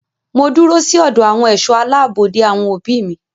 Mo dúró sí ọ̀dọ̀ àwọn ẹ̀ṣọ́ aláàbò de àwọn òbí mi.